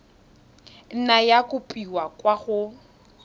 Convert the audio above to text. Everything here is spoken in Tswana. nna ya kopiwa kwa go